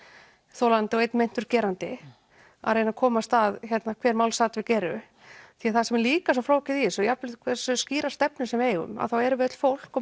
þolandi og einn meintur gerandi að reyna að komast að hver málsatvik eru því það sem er líka svo flókið í þessu jafnvel hversu skýrar stefnur sem við eigum þá erum við öll fólk og